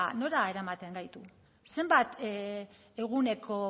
nora eramaten gaitu zenbat eguneko